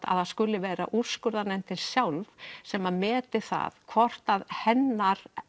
að það skuli vera úrskurðarnefndin sjálf sem meti það hvort að hennar